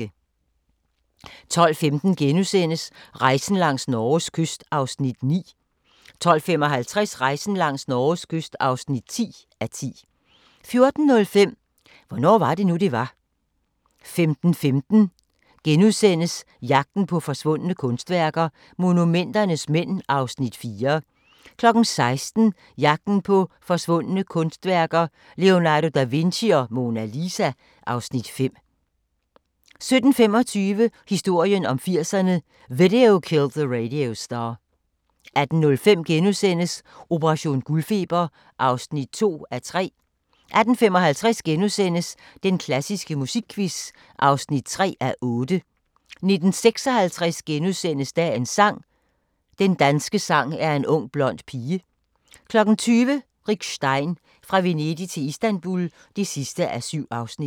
12:15: Rejsen langs Norges kyst (9:10)* 12:55: Rejsen langs Norges kyst (10:10) 14:05: Hvornår var det nu det var 15:15: Jagten på forsvundne kunstværker – Monumenternes mænd (Afs. 4)* 16:00: Jagten på forsvundne kunstværker - Leonardo da Vinci og Mona Lisa (Afs. 5) 17:25: Historien om 80'erne: Video Killed the Radio Star 18:05: Operation guldfeber (2:3)* 18:55: Den klassiske musikquiz (3:8)* 19:56: Dagens sang: Den danske sang er en ung blond pige * 20:00: Rick Stein – Fra Venedig til Istanbul (7:7)